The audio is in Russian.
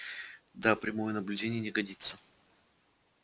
да прямое наблюдение не годится